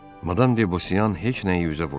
Madam debosiyan heç nəyi üzə vurmadı.